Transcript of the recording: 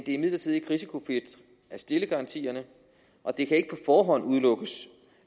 imidlertid ikke risikofrit at stille garantierne og det kan ikke på forhånd udelukkes